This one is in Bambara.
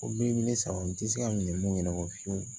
O bi ne sago n te se ka minɛn mun ɲɛnabɔ fiyewu